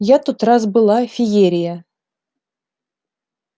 я тот раз была феерия